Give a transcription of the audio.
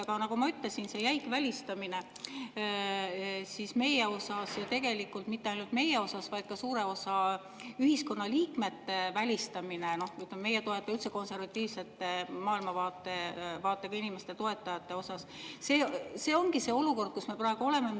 Aga nagu ma ütlesin, see jäik meie välistamine ja tegelikult mitte ainult meie, vaid ka suure osa ühiskonnaliikmete välistamine, meie toetajate ja üldse konservatiivse maailmavaatega inimeste toetajate välistamine, see ongi see olukord, kus me praegu oleme.